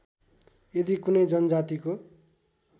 यदि कुनै जनजातिको